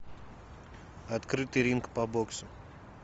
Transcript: открытый ринг по боксу